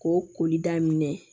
K'o koli daminɛ